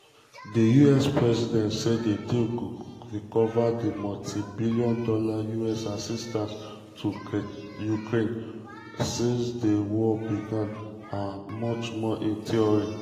di um us president say di deal go recover di multi-billion dollar us assistance to ukraine since di um war begin and "much more in theory".